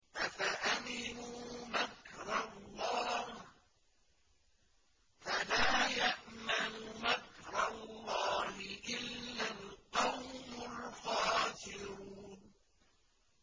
أَفَأَمِنُوا مَكْرَ اللَّهِ ۚ فَلَا يَأْمَنُ مَكْرَ اللَّهِ إِلَّا الْقَوْمُ الْخَاسِرُونَ